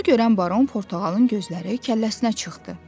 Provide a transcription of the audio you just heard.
Bunu görən Baron Portağalın gözləri kəlləsinə çıxdı.